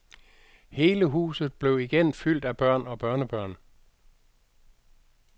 Hele huset blev igen fyldt af børn og børnebørn.